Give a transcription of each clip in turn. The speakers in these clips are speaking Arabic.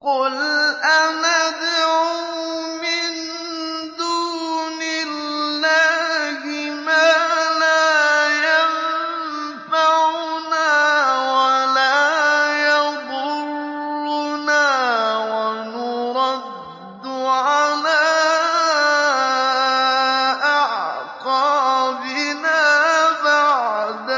قُلْ أَنَدْعُو مِن دُونِ اللَّهِ مَا لَا يَنفَعُنَا وَلَا يَضُرُّنَا وَنُرَدُّ عَلَىٰ أَعْقَابِنَا بَعْدَ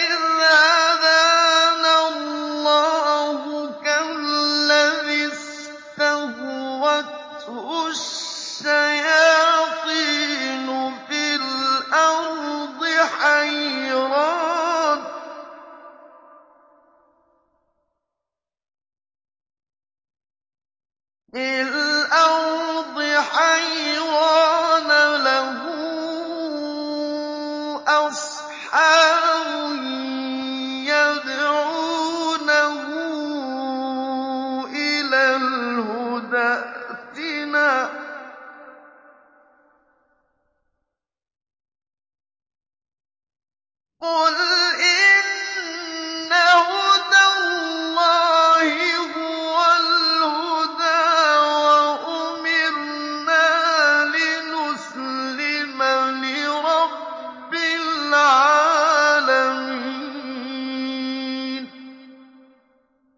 إِذْ هَدَانَا اللَّهُ كَالَّذِي اسْتَهْوَتْهُ الشَّيَاطِينُ فِي الْأَرْضِ حَيْرَانَ لَهُ أَصْحَابٌ يَدْعُونَهُ إِلَى الْهُدَى ائْتِنَا ۗ قُلْ إِنَّ هُدَى اللَّهِ هُوَ الْهُدَىٰ ۖ وَأُمِرْنَا لِنُسْلِمَ لِرَبِّ الْعَالَمِينَ